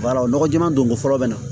walayi maa don ko fɔlɔ bɛ na